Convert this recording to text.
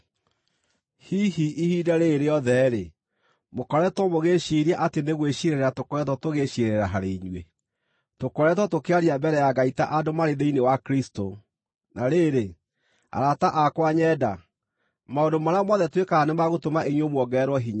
Hihi ihinda rĩĩrĩ rĩothe mũkoretwo mũgĩĩciiria atĩ nĩ gwĩciirĩrĩra tũkoretwo tũgĩciirĩrĩra harĩ inyuĩ? Tũkoretwo tũkĩaria mbere ya Ngai ta andũ marĩ thĩinĩ wa Kristũ; na rĩrĩ, arata akwa nyenda, maũndũ marĩa mothe twĩkaga nĩ ma gũtũma inyuĩ muongererwo hinya.